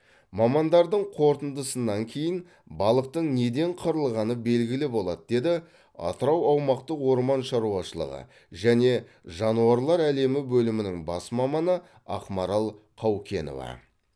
мамандардың қорытындысынан кейін балықтың неден қырылғаны белгілі болады деді атырау аумақтық орман шаруашылығы және жануарлар әлемі бөлімінің бас маманы ақмарал қаукенова